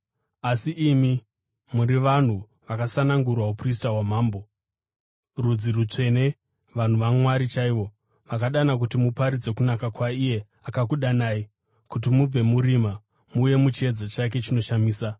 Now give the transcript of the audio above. Asi imi muri vanhu vakasanangurwa, uprista hwamambo, rudzi rutsvene, vanhu vaMwari chaivo, vaakadana kuti muparidze kunaka kwaiye akakudanai kuti mubve murima, muuye muchiedza chake chinoshamisa.